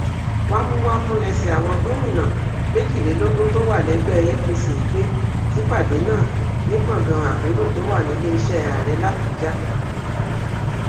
wámúwámù lẹsẹ àwọn gómìnà méjìlélógún tó wà lẹgbẹ apc pé sípàdé náà ní gbọngàn àpérò tó wà níléeṣẹ ààrẹ làbújá